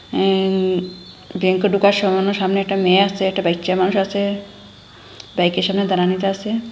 অ্যাম ব্যাংকে ঢোকার সামান্য সামনে একটি মেয়ে আসে একটা বাইচ্চা মানুষ আছে বাইকের সামনে দাঁড়ানিতে আসে।